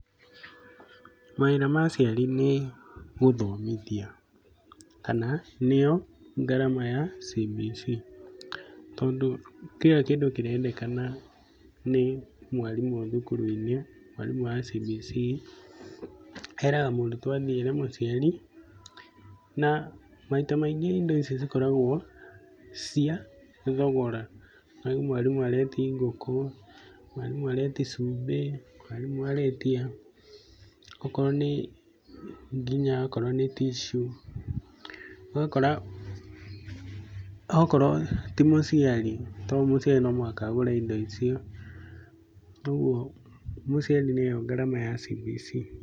Mawĩra ma aciari nĩ gũthomithia kana nĩo ngarama ya CBC. Tondũ kira kĩndũ kirendekana nĩ mwarimũ thukuru-inĩ, mwarimũ wa CBC, eraga mũrutwo athiĩ ere mũciari. Na maita maingĩ indo icio cikoragwo cia thogora, ũkaigua mwarimũ areti ngũkũ, mwarimũ areti cumbĩ, mwarimũ aretia okorwo nĩ nginya okorwo nĩ tissue. Ũgakora, okorwo ti mũciari tondũ mũciari no mũhaka agũre indo icio. Toguo mũciari nĩyo ngarama ya CBC.